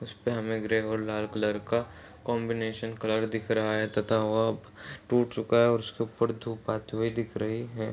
इसपे हमें ग्रे और लाल कलर का कॉम्बिनेशन कलर दिख रहा है तथा वह अब टूट चुका है और उसके ऊपर धूप आती हुई दिख रही है।